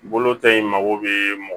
Bolo ta in mago bɛ mɔgɔ